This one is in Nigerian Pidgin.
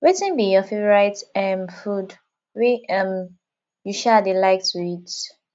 wetin be your favorite um food wey um you um dey like to eat